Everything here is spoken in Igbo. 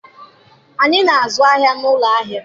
Anyị na-azụ ahịa n'ụlọ ahịa.